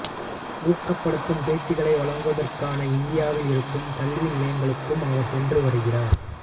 ஊக்கப்படுத்தும் பேச்சுகளை வழங்குவதற்காக இந்தியாவில் இருக்கும் கல்வி நிலையங்களுக்கும் அவர் சென்று வருகிறார்